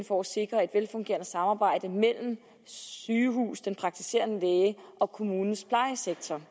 for at sikre et velfungerende samarbejde mellem sygehuset den praktiserende læge og kommunens plejesektor